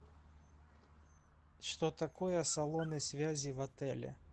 что такое салоны связи в отеле